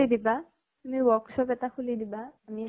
দিবা। তুমি workshop এটা খুলি দিবা। আমি